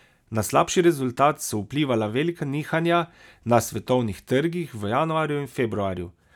Na slabši rezultat so vplivala velika nihanja na svetovnih trgih v januarju in februarju.